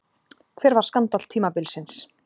Hver var skandall tímabilsins?